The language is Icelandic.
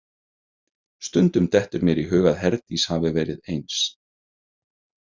Stundum dettur mér í hug að Herdís hafi verið eins.